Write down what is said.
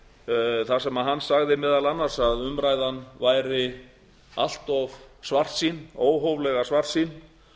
þar sem hann sagði meðal annars að umræðan væri allt of svartsýn óhóflega svartsýn